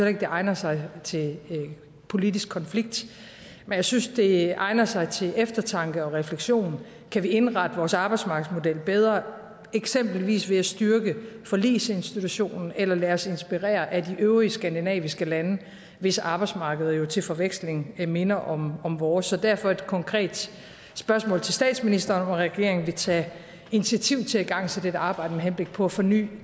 ikke at det egner sig til politisk konflikt men jeg synes at det egner sig til eftertanke og refleksion kan vi indrette vores arbejdsmarkedsmodel bedre eksempelvis ved at styrke forligsinstitutionen eller lade os inspirere af de øvrige skandinaviske lande hvis arbejdsmarked jo til forveksling minder om om vores så derfor et konkret spørgsmål til statsministeren om regeringen vil tage initiativ til at igangsætte et arbejde med henblik på at forny